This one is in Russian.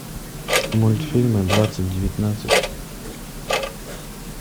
мультфильмы двадцать девятнадцать